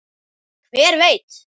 Hver veit?